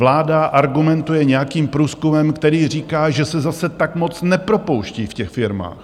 Vláda argumentuje nějakým průzkumem, který říká, že se zase tak moc nepropouští v těch firmách.